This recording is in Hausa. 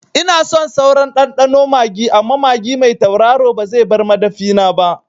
Ina son sauran ɗanɗano magi amma magi mai tauraro ba zai bar madafina ba